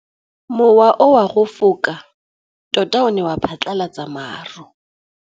Mowa o wa go foka tota o ne wa phatlalatsa maru.